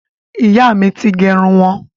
Ìyá mi ti gẹrun wọn.